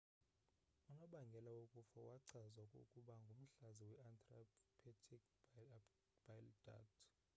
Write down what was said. unobangela wokufa wachazwa ukuba ngumhlaza we-intrahepatic bile duct